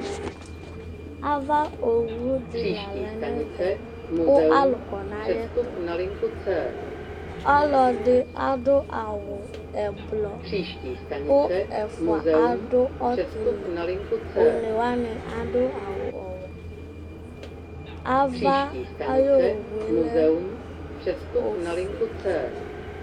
ava owu di la lɛ nu ɛvɛ ku alu kɔ nu ayɛtu, ɔlɔdi adu awu ɛblɔ, ku ɛfʋa adu ɔtili, one wʋani adu awu ɔwɛ, ava ayowue lɛ ofue